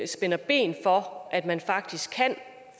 spænder ben for at man faktisk kan